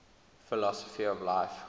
philosophy of life